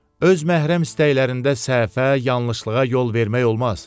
Öz məhrəm istəklərində səhvə, yanlışlığa yol vermək olmaz.